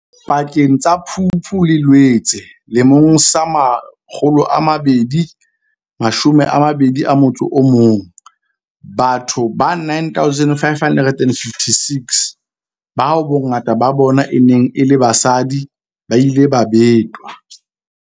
Pakeng tsa Phupu le Loetse 2021, batho ba 9 556, bao bongata ba bona e neng e le basadi, ba ile ba betwa.